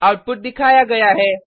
output दिखाया गया है